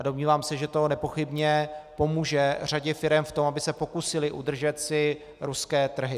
A domnívám se, že to nepochybně pomůže řadě firem v tom, aby se pokusily udržet si ruské trhy.